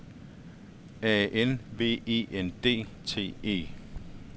A N V E N D T E